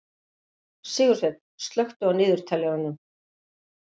Sigursveinn, slökktu á niðurteljaranum.